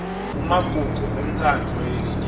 kumagugu entsandvo yelinyenti